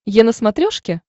е на смотрешке